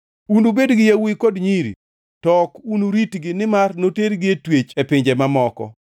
Unubed gi yawuowi kod nyiri to ok unuritgi nimar notergi e twech e pinje mamoko.